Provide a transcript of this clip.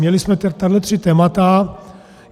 Měli jsme tady tři témata.